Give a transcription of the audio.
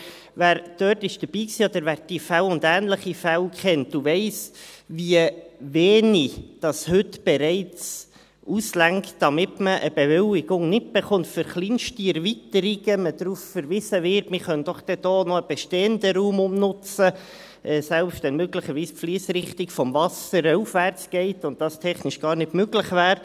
Aber wer dort dabei war oder wer diese und ähnliche Fälle kennt, weiss, wie wenig heute bereits ausreicht, damit man eine Bewilligung nicht bekommt und man für kleinste Erweiterungen darauf verwiesen wird, man könne doch dann dort noch einen bestehenden Raum umnutzen, selbst wenn möglicherweise die Fliessrichtung des Wassers aufwärts geht und dies technisch gar nicht möglich ist.